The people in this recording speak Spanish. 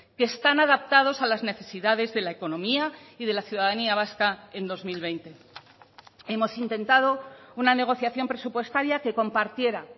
que están adaptados a las necesidades de la economía y de la ciudadanía vasca en dos mil veinte hemos intentado una negociación presupuestaria que compartiera